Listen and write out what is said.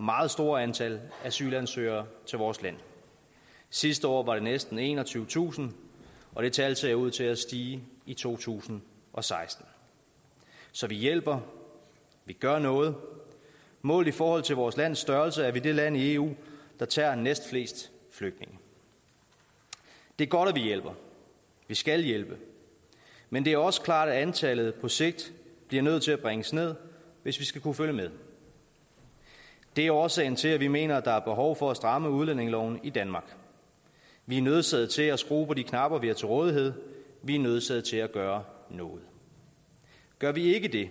meget stort antal asylansøgere til vores land sidste år var det næsten enogtyvetusind og det tal ser ud til at stige i to tusind og seksten så vi hjælper vi gør noget og målt i forhold til vores lands størrelse er vi det land i eu der tager næstflest flygtninge det er godt at vi hjælper vi skal hjælpe men det er også klart at antallet på sigt bliver nødt til at bringes ned hvis vi skal kunne følge med det er årsagen til at vi mener der er behov for at stramme udlændingeloven i danmark vi er nødsaget til at skrue på de knapper vi har til rådighed vi er nødsaget til at gøre noget gør vi ikke det